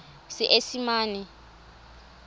seesimane